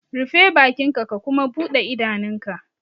Rufe bakinka ka kuma bude idanunka!